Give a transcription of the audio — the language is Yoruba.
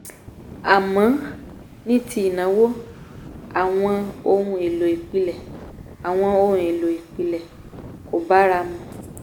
àmọ́ ní ti ìnáwó àwọn ohun-èlò-ìpìlẹ̀ àwọn ohun-èlò-ìpìlẹ̀ kò bára mu